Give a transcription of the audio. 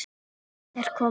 Dísa er komin!